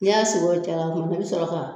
I y'a sigi yɔrɔw caya i bɛ sɔrɔ ka